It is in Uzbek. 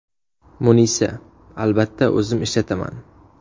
Munisa: Albatta o‘zim ishlataman.